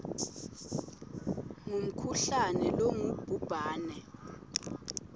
ngumkhuhlane longubhubhane a